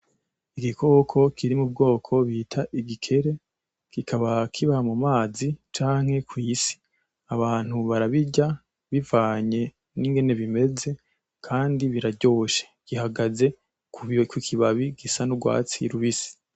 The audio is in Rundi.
igikoko kiri mu bwoko bita igikeri kikaba kiba mu mazi canke ku isi abantu barabirya bivanye n'ingene bimeze kandi biraryoshe gihagaze ku kibabi gisa n'urwatsi rubisi.